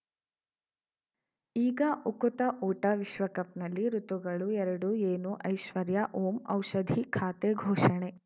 ಈಗ ಉಕುತ ಊಟ ವಿಶ್ವಕಪ್‌ನಲ್ಲಿ ಋತುಗಳು ಎರಡು ಏನು ಐಶ್ವರ್ಯಾ ಓಂ ಔಷಧಿ ಖಾತೆ ಘೋಷಣೆ